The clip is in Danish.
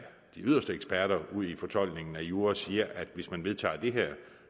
de yderste eksperter udi fortolkningen af jura siger at hvis man vedtager det her